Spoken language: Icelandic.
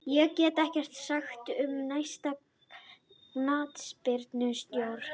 Ég get ekkert sagt um næsta knattspyrnustjóra.